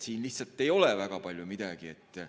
Siin lihtsalt ei ole eriti palju midagi kirjas.